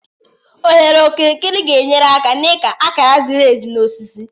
Oghere okirikiri ga-enyere aka n'ịka akara ziri ezi na osisi.